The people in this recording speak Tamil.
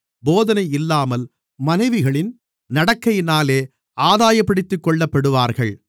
போதனை இல்லாமல் மனைவிகளின் நடக்கையினாலேயே ஆதாயப்படுத்திக்கொள்ளப்படுவார்கள்